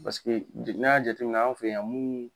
Paseke bi n'an y'a jateminɛ an fɛ yan mun